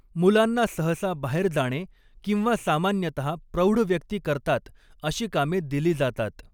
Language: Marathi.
मुलांना सहसा बाहेर जाणे किंवा सामान्यतः प्रौढ व्यक्ती करतात अशी कामे दिली जातात.